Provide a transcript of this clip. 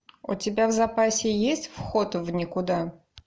у тебя в запасе есть вход в никуда